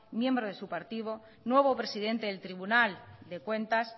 miembro de su partido nuevo presidente del tribunal de cuentas